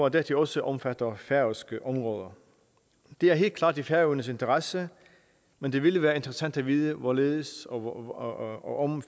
at dette også omfatter færøske områder det er helt klart i færøernes interesse men det ville være interessant at vide hvorledes og og om